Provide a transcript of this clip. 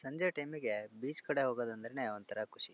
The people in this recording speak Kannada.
ಸಂಜೆ ಟೈಮ್ಗೆ ಬೀಚ್ ಕಡೆ ಹೋಗೋದಂದ್ರೆನೇ ಒಂತರ ಖುಷಿ.